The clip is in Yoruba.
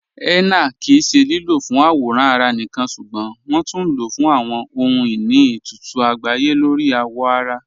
Henna kí í ṣẹ lílọ́ fún àwòràn ará níkan ṣúgbọ́n wọn tún ló fún àwọn ọhun-iní itutu àgbáyé lórí awọ ará.